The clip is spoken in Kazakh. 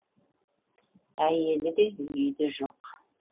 әйелі де үйі де жоқ